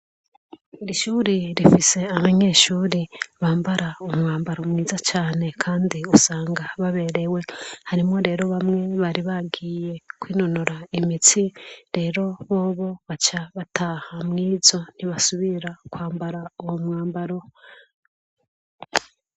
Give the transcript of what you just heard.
Irishure rifise abanyeshure bambara umwambaro mwiza cane kandi usanga baberewe. Harimwo rero bamwe bari bagiye kwinonora imitsi rero bobo baca bataha mw'izo ntibasubira kwambara uwomwambaro.